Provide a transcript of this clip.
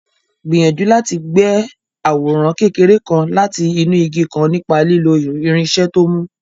Gbìyànjú láti gbẹ́ àwòrán kékeré kan láti inú igi kan nípa lílo irinṣẹ́ tó mú.